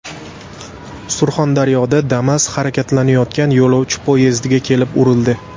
Surxondaryoda Damas harakatlanayotgan yo‘lovchi poyezdiga kelib urildi.